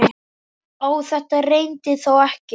Á þetta reyndi þó ekki.